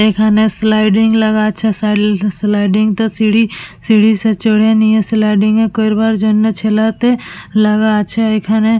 এইখানে স্লাইডিং লাগা আছে সিঁড়িস্লাই স্লাইডিং তে সিঁড়ি সিঁড়ি তে চড়ে নিয়ে স্লাইডিং করবার জন্যে লাগা আছে এইখানে।